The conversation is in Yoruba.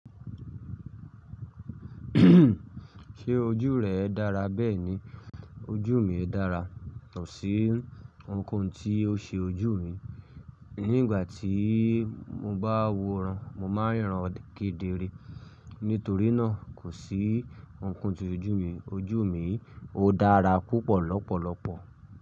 Ṣe ojú rẹ dára? Bẹ́ẹ̀ni ojú mi dára. Kò sí ohunkóhun tí ó ṣe ojú mi. Ní ìgbà tí mo bá wo ìran, mo máa ń ríran kedere. Nítorí náà kò sí ohunkóhun ti ojú mi. Ojú mi ó dára púpọ̀ lọ́pọ̀lọpọ̀